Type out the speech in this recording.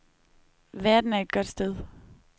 Verden er et godt sted.